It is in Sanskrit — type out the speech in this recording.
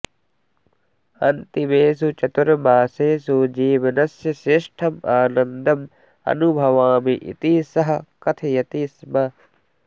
अन्तिमेषु चतुर्मासेषु जीवनस्य श्रेष्ठम् आनन्दम् अनुभवामि इति सः कथयति स्म